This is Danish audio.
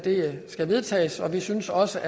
skal vedtages vi synes også